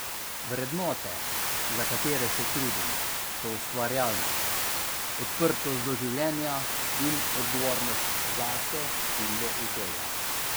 Vrednote, za katere se trudim, so ustvarjalnost, odprtost do življenja in odgovornost zase in do okolja.